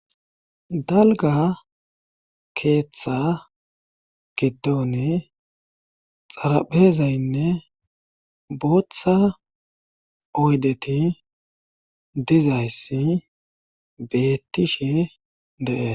dalga keeththa gitoni xarapezaynne booththa oydeti dizayssi bettishi de7e